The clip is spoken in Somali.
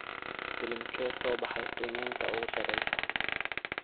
filimkee soo baxay qiimeynta ugu sareysa